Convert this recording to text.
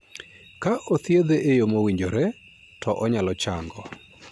Ka othiedhe e yo mowinjore, to onyalo chango.